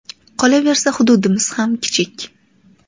Qolaversa, hududimiz ham kichik.